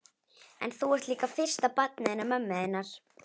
En þú ert líka fyrsta barnið hennar mömmu þinnar.